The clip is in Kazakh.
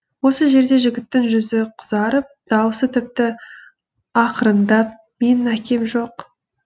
осы жерде жігіттің жүзі қызарып дауысы тіпті ақырындап менің әкем жоқ